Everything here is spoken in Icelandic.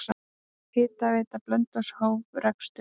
Hitaveita Blönduóss hóf rekstur.